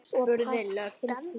spurði löggan.